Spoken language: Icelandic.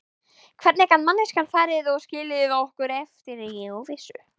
Hvernig gat manneskjan farið og skilið okkur eftir í óvissu?